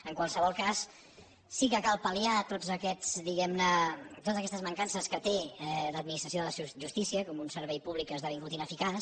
en qualsevol cas sí que cal pal·liar totes aquestes diguem ne mancances que té l’administració de la justícia com un servei públic que ha esdevingut ineficaç